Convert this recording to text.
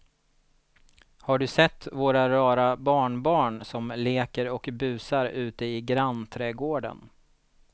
Har du sett våra rara barnbarn som leker och busar ute i grannträdgården!